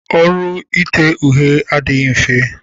Ọrụ ite uhie adịghị mfe.